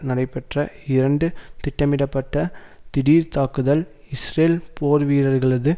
நடைபெற்ற இரண்டு திட்டமிடப்பட்ட திடீர்தாக்குதல் இஸ்ரேல் போர்வீரர்களது